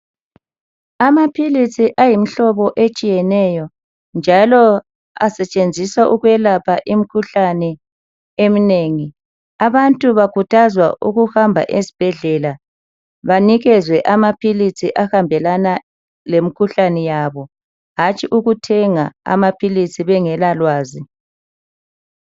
Amaphilisi ayimihlobo etshiyeneyo njalo asetshenziswa ukwelapha imkhuhlane eminengi abantu bakhuthazwa ukuhamba esibhendlela banikezwe amaphilisi ahambelana lemkhuhlane yabo hatshi ukuthenga amaphilisi bengalalwazi.